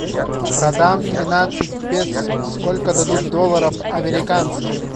продам тринадцать песо сколько дадут долларов американских